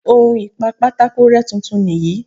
On ìpa pátákó rẹ́ tuntun nìyí.